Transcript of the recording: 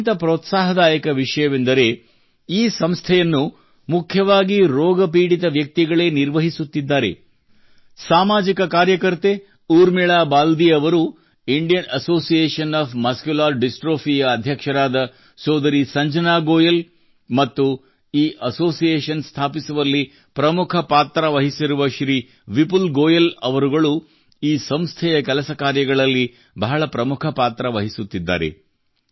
ಅತ್ಯಂತ ಪ್ರೋತ್ಸಾಹದಾಯಕ ವಿಷಯವೆಂದರೆ ಈ ಸಂಸ್ಥೆಯನ್ನು ಮುಖ್ಯವಾಗಿ ರೋಗಪೀಡಿತ ವ್ಯಕ್ತಿಗಳೇ ನಿರ್ವಹಿಸುತ್ತಿದ್ದಾರೆ ಸಾಮಾಜಿಕ ಕಾರ್ಯಕರ್ತೆ ಊರ್ಮಿಳಾ ಬಾಲ್ದೀ ಅವರು Indian association of muscular dystrophy ಸಂಘಟನೆಯ ಅಧ್ಯಕ್ಷರಾದ ಸಂಜನಾ ಗೋಯಲ್ ಮತ್ತು ಈ ಅಸೋಸಿಯೇಷನ್ ಸ್ಥಾಪಿಸುವಲ್ಲಿ ಪ್ರಮುಖ ಪಾತ್ರ ವಹಸಿರುವ ಶ್ರೀ ವಿಪುಲ್ ಗೋಯಲ್ ಅವರುಗಳು ಈ ಸಂಸ್ಥೆಯ ಕೆಲಸ ಕಾರ್ಯಗಳಲ್ಲಿ ಬಹಳ ಪ್ರಮುಖ ಪಾತ್ರ ನಿರ್ವಹಿಸುತ್ತಿದ್ದಾರೆ